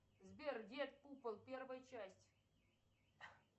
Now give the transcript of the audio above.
сбер дед купол первая часть